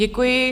Děkuji.